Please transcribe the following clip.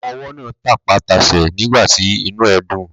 Ọmọwọ́ náà tapá tasẹ̀ nígbàtí inú ẹ̀ dùn.